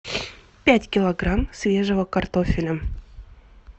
пять килограмм свежего картофеля